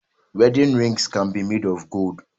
Wedding rings can be made of gold